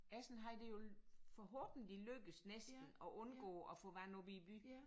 Essen havde det jo forhåbentlig lykkedes næsten at undgå at få vand op i byen